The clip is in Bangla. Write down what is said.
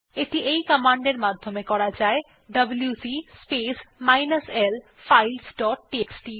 এটি এই কমান্ড এর মাধ্যমে করা যায় ডব্লিউসি space minus l files dot TXT